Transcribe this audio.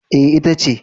E, ita ce.